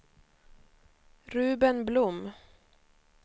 Ruben Blom